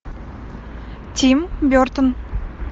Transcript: тим бертон